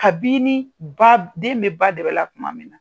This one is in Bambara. Kabini ba den bɛ ba dɛbɛ la kuma min na.